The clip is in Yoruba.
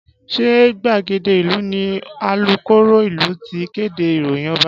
Ṣé gbàgede ìlú ni alukoro ìlú ti kéde ìròyìn Ọba?